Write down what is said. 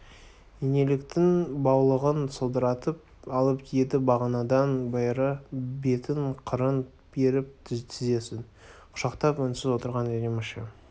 инеліктің баулығын сылдыратып алып еді бағанадан бері бетін қырын беріп тізесін құшақтап үнсіз отырған әдеміше